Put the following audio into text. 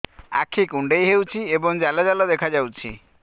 ଆଖି କୁଣ୍ଡେଇ ହେଉଛି ଏବଂ ଜାଲ ଜାଲ ଦେଖାଯାଉଛି